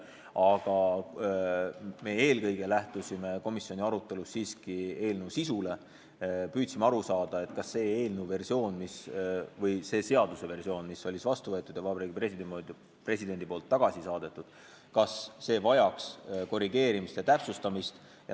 Aga meie lähtusime komisjoni arutelus siiski eelnõu sisust ja püüdsime aru saada, kas see eelnõu või seaduse versioon, mis oli vastu võetud ja mille Vabariigi President tagasi saatis, vajaks korrigeerimist ja täpsustamist.